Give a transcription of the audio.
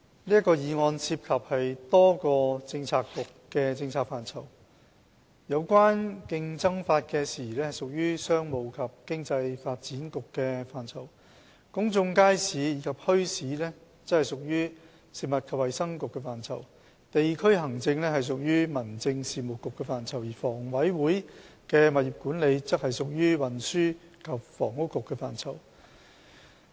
這項議案涉及多個政策局的政策範疇：有關競爭法的事宜屬於商務及經濟發展局的範疇；公眾街市及墟市屬於食物及衞生局的範疇；地區行政屬於民政事務局的範疇；而香港房屋委員會的物業管理則屬於運輸及房屋局的範疇。